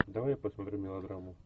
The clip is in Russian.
давай я посмотрю мелодраму